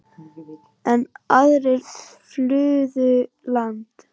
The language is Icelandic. Enn aðrir flúðu land.